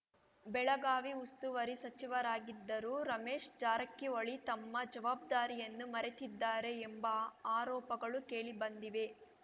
ಬೆಳಗಾವಿ ಉಸ್ತುವಾರಿ ಸಚಿವರಾಗಿದ್ದರೂ ರಮೇಶ್‌ ಜಾರಕಿಹೊಳಿ ತಮ್ಮ ಜವಾಬ್ದಾರಿಯನ್ನು ಮರೆತಿದ್ದಾರೆ ಎಂಬ ಆರೋಪಗಳು ಕೇಳಿ ಬಂದಿವೆ